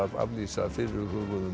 aflýsa fyrirhuguðum